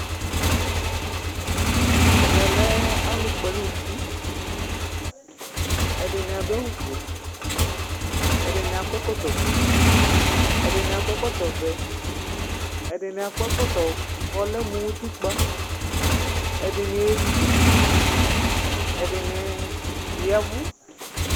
ɛmɛ lɛ alu Kpɔ ɛlu nu uti , ɛdini adu awu fue, ɛdini akɔ ɛkɔtɔ fue, ɛdini akɔ ɛkɔtɔ vɛ, ɛdini akɔ ɛkɔtɔ ku ɔlɛ mu utikpa, ɛdini ezukuti, ɛdini yavu